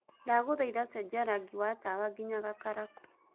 ndagũthaĩtha cenjĩa rangĩ wa tawa ngĩnya gakaraku